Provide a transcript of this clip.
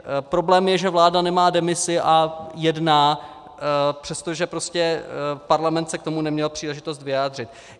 Problém je, že vláda nemá demisi a jedná, přestože parlament se k tomu neměl příležitost vyjádřit.